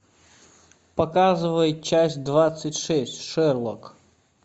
показывай часть двадцать шесть шерлок